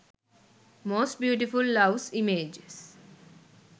most beautiful loves images